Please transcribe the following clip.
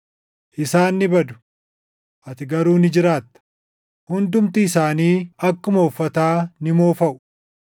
Isaan ni badu; ati garuu ni jiraatta; hundumti isaanii akkuma uffataa ni moofaʼu;